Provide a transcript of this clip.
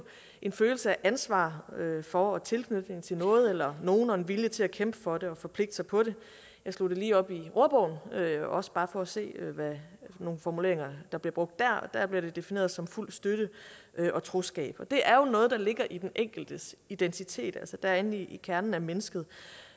en følelse af ansvar for og tilknytning til noget eller nogen og en vilje til at kæmpe for det og forpligte sig på det jeg slog det lige op i ordbogen også bare for at se hvilke formuleringer der bliver brugt der og der bliver det defineret som fuld støtte og troskab det er jo noget der ligger i den enkeltes identitet det er inde i kernen af mennesket